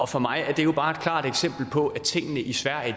for mig er det jo bare et klart eksempel på at tingene i sverige